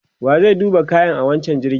wa zai duba kayan wancan jirgin?